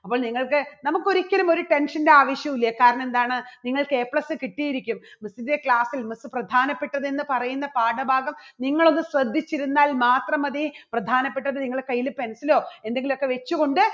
അപ്പോൾ നിങ്ങൾക്ക് നമുക്ക് ഒരിക്കലും ഒരു tension ന്റെയും ആവശ്യുല്ല കാരണം എന്താണ് നിങ്ങൾക്ക് A plus കിട്ടിയിരിക്കും. miss ന്റെ class ൽ miss പ്രധാനപ്പെട്ടത് എന്ന് പറയുന്ന പാഠഭാഗം നിങ്ങളൊന്ന് ശ്രദ്ധിച്ചിരുന്നാൽ മാത്രം മതി പ്രധാനപ്പെട്ടത് നിങ്ങളുടെ കയ്യില് pencil ലോ എന്തെങ്കിലും ഒക്കെ വെച്ചുകൊണ്ട്